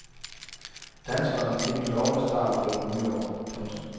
Danskeren fik en lovende start på det ny år. punktum